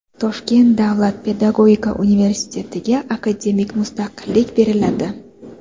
Toshkent davlat pedagogika universitetiga akademik mustaqillik beriladi.